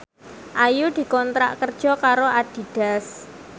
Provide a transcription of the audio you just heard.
Ayu dikontrak kerja karo Adidas